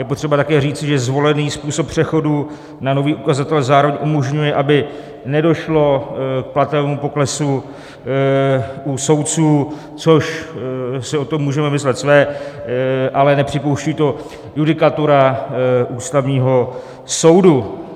Je potřeba také říci, že zvolený způsob přechodu na nový ukazatel zároveň umožňuje, aby nedošlo k platovému poklesu u soudců, což si o tom můžeme myslet své, ale nepřipouští to judikatura Ústavního soudu.